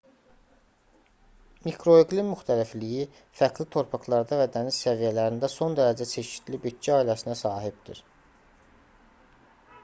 mikroiqlim müxtəlifliyi fərqli torpaqlarda və dəniz səviyyələrində son dərəcə çeşidli bitki ailəsinə sahibdir